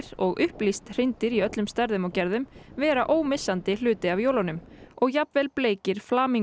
og upplýst hreindýr í öllum stærðum og gerðum vera ómissandi hluti af jólunum og jafnvel bleikir